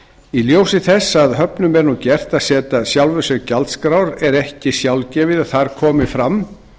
í ljósi þess að höfnum er nú gert að setja sjálfum sér gjaldskrár er ekki sjálfgefið að þar komi fram